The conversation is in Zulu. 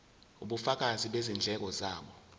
ubufakazi bezindleko zabo